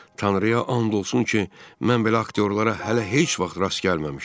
Tanrıya and olsun ki, mən belə aktyorlara hələ heç vaxt rast gəlməmişdim.